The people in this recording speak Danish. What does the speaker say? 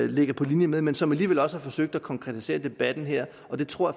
ligger på linje med men som alligevel også har forsøgt at konkretisere debatten her og det tror